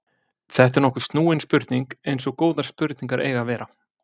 þetta er nokkuð snúin spurning eins og góðar spurningar eiga að vera